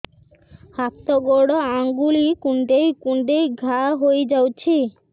ହାତ ଗୋଡ଼ ଆଂଗୁଳି କୁଂଡେଇ କୁଂଡେଇ ଘାଆ ହୋଇଯାଉଛି